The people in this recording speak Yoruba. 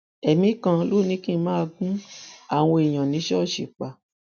ẹmí kan ló ní kí n máa gún àwọn èèyàn ní ṣíṣọọṣì pa